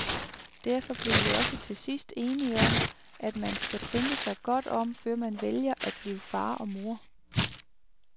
Derfor blev vi også til sidst enige om, at man skal tænke sig godt om, før man vælger at blive far og mor.